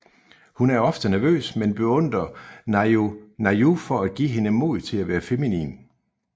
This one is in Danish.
Hun er ofte nervøs men beundrer Nayu for at give hende mod til at være feminin